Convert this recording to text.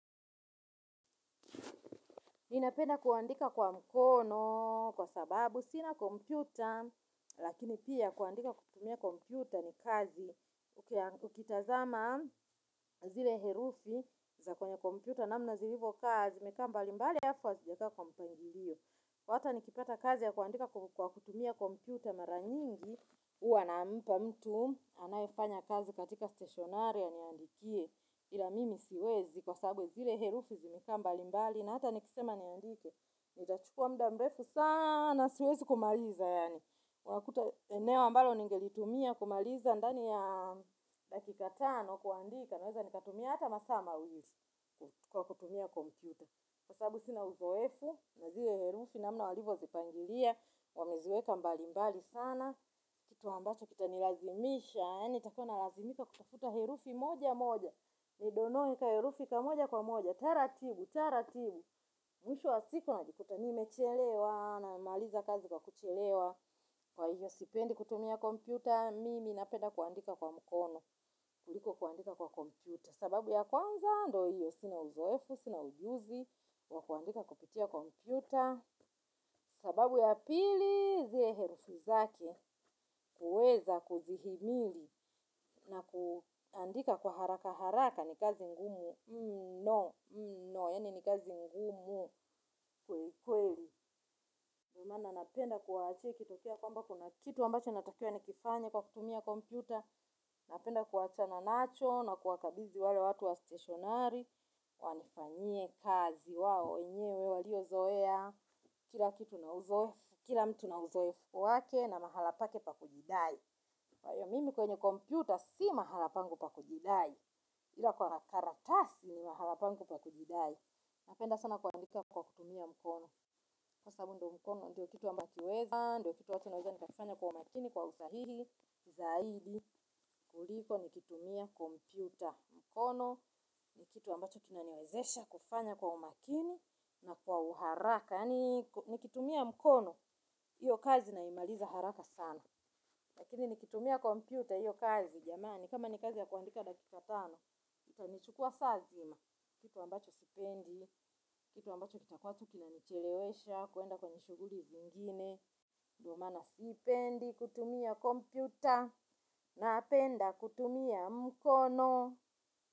Ninapenda kuandika kwa mkono kwa sababu sina kompyuta, lakini pia kuandika kutumia kompyuta ni kazi. Ukitazama zile herufi za kwenye kompyuta namna zilivyo, hivyo kazi ni kama imbali, halafu wazijaza kwa mpangilio. Kwa hata nikipata kazi ya kuandika kwa kutumia kompyuta mara nyingi, huwa nampa mtu anayefanya kazi katika stationery aniandikie, ila mimi siwezi kwa sababu zile herufi zimekaa mbalimbali, na hata nikisema niandike. Nitachukua muda mrefu sana siwezi kumaliza yaani. Wakuta eneo ambalo ningelitumia kumaliza ndani ya dakika tano kuandika naweza nikatumia hata masaa mawilii kwa kutumia kompuyta. Kwa sababu sina uzoefu, naziwe herufi namna walivo zipangilia, wameziweka mbali mbali sana, kitu ambacho kita nilazimisha, yaani nitakuawa nalazimika kutafuta herufi moja moja, ni donoe ka herufi kamoja kwa moja, taratibu, taratibu, mwisho wa siku najikuta nimechelewa namaliza kazi kwa kuchelewa, kwa hiyo sipendi kutumia kompyuta, mimi napenda kuandika kwa mkono, kuliko kuandika kwa kompyuta. Sababu ya kwanza, ndio hiyo, sina uzoefu, sina ujuzi, wa kuandika kupitia kompyuta, sababu ya pili, zile herufi zake, kuweza kuzihimili na kuandika kwa haraka haraka, ni kazi ngumu, no, no, yaani ni kazi ngumu kwekweli. Ndio maana napenda kuwaachia ikitokea kwamba kuna kitu ambacho natakiwa nikifanye kwa kutumia kompyuta. Napenda kuachana nacho na kuwakabidhii wale watu wa stationari. Wanifanyie kazi wao wenyewe walio zoea. Kila kitu na uzoefu kila mtu na uzoefu wake na mahali pake pakujidai. Kwa hiyo mimi kwenye kompyuta si mahala pangu pa kujidai. Ila kwa karatasi ni mahala pangu pa kujidai. Napenda sana kuandika kwa kutumia mkono. Sasa huo ndio mkono ndio kitu ambachi nakiweza, ndio kitu ata naweza nikakifanya kwa umakini kwa usahihi, zaidi, kuliko nikitumia kompuyta mkono, ni kitu ambacho kinaniwezesha kufanya kwa umakini na kwa uharaka, nikitumia mkono, hiyo kazi naimaliza haraka sana. Lakini nikitumia kompyuta hiyo kazi jamani, kama ni kazi ya kuandika dakika tano, itanichukua saa nzima, kitu ambacho sipendi, kitu ambacho kitakuwa tu kina nichelewesha, kwenda kwenye shughuli zingine, ndio maana sipendi, kutumia kompyuta, napenda kutumia mkono.